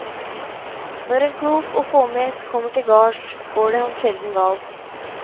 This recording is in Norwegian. Når en klok og fåmælt kommer til gards, går det ham sjelden galt.